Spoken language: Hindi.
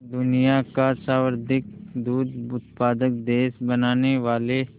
दुनिया का सर्वाधिक दूध उत्पादक देश बनाने वाले